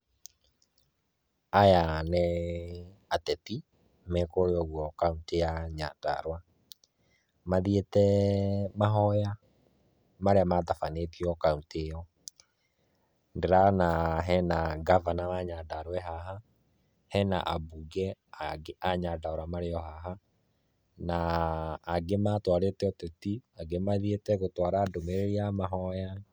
Aya nĩ ateti, me kũrĩa ũguo kaũntĩ ya Nyandarũa, mathiĩte mahoya marĩa matabanĩtio kaũntĩ ĩyo, ndĩrona hena ngavana wa Nyandarũa e haha, hena ambunge a Nyandarua marĩ o haha, na angĩ matwarĩte ũteti, angĩ mathiĩte gũtwara ndũmĩrĩri ya mahoya.